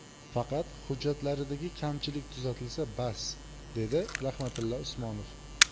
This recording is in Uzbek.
Faqat hujjatlaridagi kamchilik tuzatilsa, bas”, dedi Rahmatilla Usmonov.